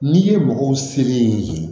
N'i ye mɔgɔw seri